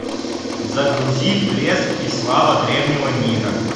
загрузи блеск и слава древнего мира